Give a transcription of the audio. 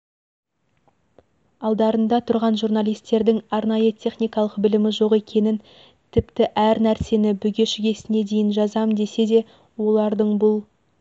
алдарында тұрған журналистердің арнайы техникалық білімі жоқ екенін тіпті әр нәрсені бүге-шүгесіне дейін жазам десе де олардың бұл